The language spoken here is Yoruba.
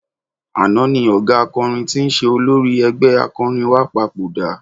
Àná ni ọ̀gá akọrin tí ń ṣe olórí ẹgbẹ́ akọrin wa papòdà.